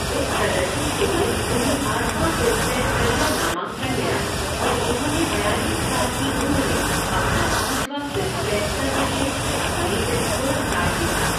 इस प्रदर्शन के लिए उन्हें आठवाँ फ़िल्मफ़ेयर करियर नामांकन मिला और उन्होंने बयालीस साल की उम्र में अपना पाँचवा फ़िल्मफ़ेयर सर्वश्रेष्ठ अभिनेत्री पुरस्कार जीता।